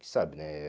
sabe, né?